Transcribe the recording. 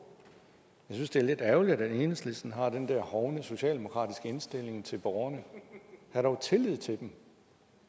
jeg synes det er lidt ærgerligt at enhedslisten har den der hovne socialdemokratiske indstilling til borgerne hav dog tillid til dem